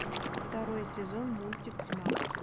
второй сезон мультик тьма